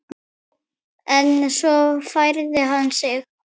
En svo færði hann sig.